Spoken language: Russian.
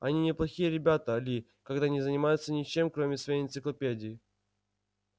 они неплохие ребята ли когда не занимаются ничем кроме своей энциклопедии